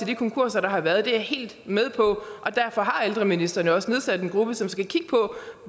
de konkurser der har været det er jeg helt med på og derfor har ældreministeren jo også nedsat en gruppe som skal kigge på